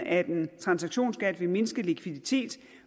at en transaktionsskat vil mindske likviditeten